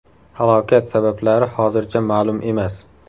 Halokat sabablari hozircha ma’lum emas.